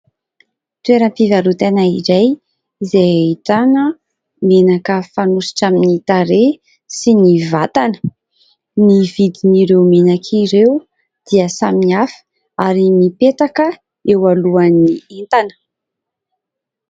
Toeram-pivarotana iray izay ahitana menaka fanosotra amin'ny tarehy sy ny vatana, ny vidin'ireo menaka ireo dia samy hafa ary mipetaka eo alohan'ny entana.